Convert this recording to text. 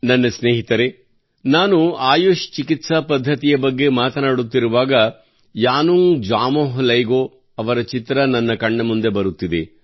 ನನ್ನ ಸ್ನೇಹಿತರೇ ನಾನು ಆಯುಷ್ ಚಿಕಿತ್ಸಾ ಪದ್ಧತಿಯ ಬಗ್ಗೆ ಮಾತನಾಡುತ್ತಿರುವಾಗ ಯಾನುಂಗ್ ಜಾಮೋಹ್ ಲೈಂಗೋ ಅವರ ಚಿತ್ರ ನನ್ನ ಕಣ್ಣಮುಂದೆ ಬರುತ್ತಿದೆ